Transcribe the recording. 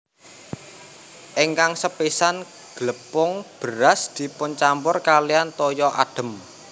Ingkang sepisan glepung beras dipuncampur kaliyan toya adhem